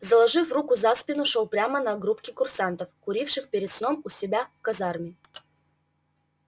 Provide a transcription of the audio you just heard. заложив руки за спину шёл прямо на группки курсантов куривших перед сном у себя в казарму